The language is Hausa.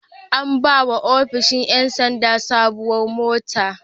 An ba wa ofishin ƴan sanda sabuwar mota.